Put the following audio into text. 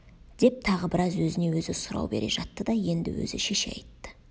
деп тағы біраз өзіне өзі сұрау бере жатты да енді өзі шеше айтты